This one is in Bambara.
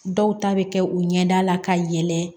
Dɔw ta bɛ kɛ u ɲɛda la ka yɛlɛ